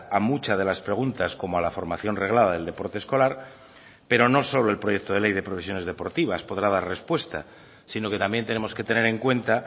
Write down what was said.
a muchas de las preguntas como a la formación reglada del deporte escolar pero no solo el proyecto de ley de profesiones deportivas podrá dar respuesta sino que también tenemos que tener en cuenta